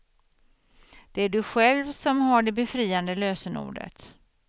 Det är du själv som har det befriande lösenordet.